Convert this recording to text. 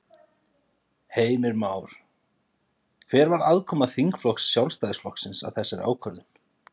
Heimir Már: Hver var aðkoma þingflokks Sjálfstæðisflokksins að þessari ákvörðun?